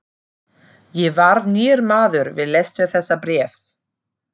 Ég varð nýr maður við lestur þessa bréfs.